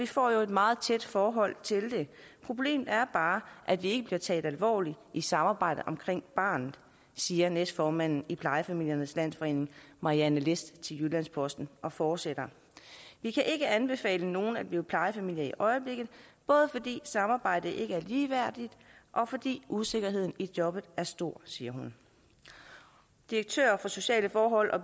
får jo et meget tæt forhold til det problemet er bare at vi ikke bliver taget alvorligt i samarbejdet omkring barnet siger næstformanden i plejefamiliernes landsforening marianne list til jyllands posten og fortsætter vi kan ikke anbefale nogen at blive plejefamilie i øjeblikket både fordi samarbejdet ikke er ligeværdigt og fordi usikkerheden i jobbet er urimeligt stor siger hun direktør for sociale forhold